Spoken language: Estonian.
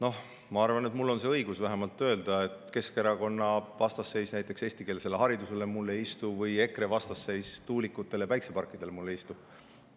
Noh, ma arvan, et mul on õigus vähemalt öelda, et Keskerakonna vastasseis näiteks eestikeelsele haridusele mulle ei istu või EKRE vastasseis tuulikutele ja päikseparkidele mulle ei istu.